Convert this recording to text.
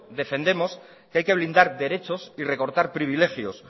defendemos que hay que blindar derechos y recortar privilegios